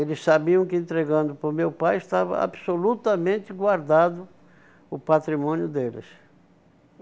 Eles sabiam que entregando para o meu pai estava absolutamente guardado o patrimônio deles.